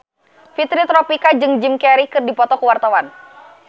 Fitri Tropika jeung Jim Carey keur dipoto ku wartawan